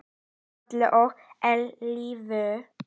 Um aldir og að eilífu.